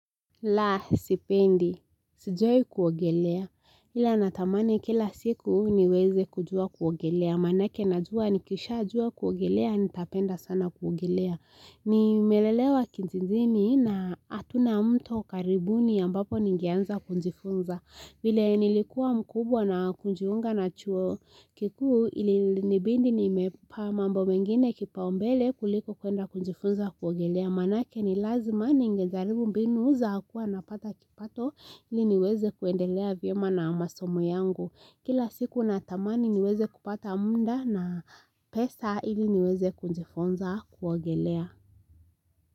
La, sipendi. Sijawai kuogelea. Ila natamani kila siku niweze kujua kuogelea. Manake najua nikisha jua kuogelea, nitapenda sana kuogelea. Nimelelewa kijijini na hatuna mto karibuni ambapo ningeanza kujifunza. Vile nilikuwa mkubwa na kujiunga na chuo kikuu ili nibidi nimepa mambo mengine kipau mbele kuliko kuenda kujifunza kuogelea. Maanake ni lazima ningejaribu mbinu za kuwa napata kipato ili niweze kuendelea vyema na masomo yangu. Kila siku natamani niweze kupata muda na pesa ili niweze kujifunza kuogelea.